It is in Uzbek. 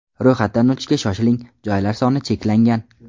Ro‘yhatdan o‘tishga shoshiling, joylar soni cheklangan!